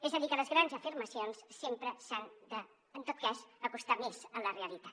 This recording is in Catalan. és a dir que les grans afirmacions sempre s’han de en tot cas acostar més a la realitat